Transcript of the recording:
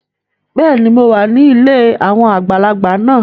Bẹẹni, Mó wà ní ilé awọn àgbàlagbà náà